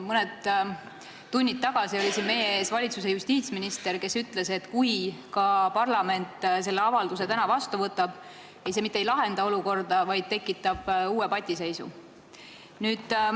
Mõned tunnid tagasi oli siin meie ees valitsuse justiitsminister, kes ütles, et kui parlament selle avalduse ka täna vastu võtab, siis see mitte ei lahenda olukorda, vaid tekitab uue patiseisu.